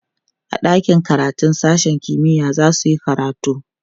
a ɗakin karatun sashen kimiya zasuyi karatu